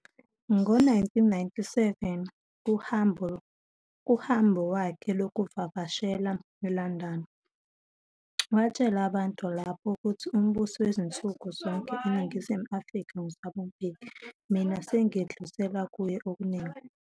Ngo 1997, kuhambo wakhe lokuvakashela eLondon, watshela abantu lapho ukuthi umbusi wansuku zonke eNingizimu Afrika, nguThabo Mbeki, mina sengidlulisela kuye okuningi."